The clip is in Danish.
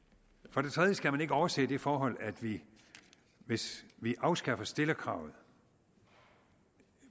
for det tredje skal man ikke overse det forhold at vi hvis vi afskaffer stillerkravet